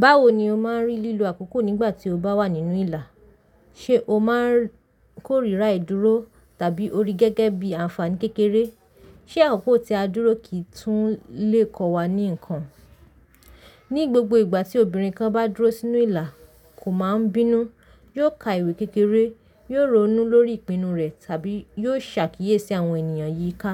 Báwo ni o máa ń rí lílo àkókò nígbà tí o bá wà nínú ìlà? Ṣé o máa ń kórìíra ìdúró tàbí o rí gẹ́gẹ́ bí àǹfààní kékeré? Ṣé àkókò tí a dúró kì í tún lè kọ́ wa ní nǹkan? Ní gbogbo ìgbà tí obìnrin kan bá dúró sínú ìlà, kò máa ń bínú, yóò ka ìwé kékeré, yóò ronú lórí ìpinnu rẹ̀ tàbí yóò ṣàkíyèsí àwọn ènìyàn yíká.